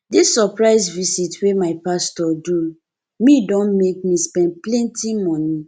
dis surprise visit wey my pastor do me don make me spend plenty moni